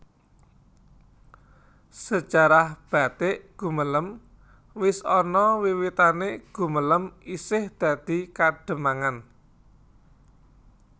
Sejarah batik Gumelem wis ana wiwitanè Gumelem isih dadi Kademangan